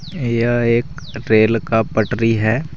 यह एक रेल का पटरी है।